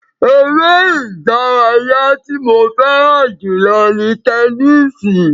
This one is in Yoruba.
Ere idaraya ti mo fẹran julọ ni tẹnisi